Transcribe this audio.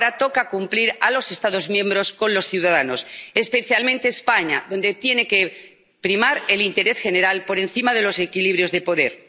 Ahora les toca cumplir a los Estados miembros con los ciudadanos, especialmente en España, donde tiene que primar el interés general por encima de los equilibrios de poder.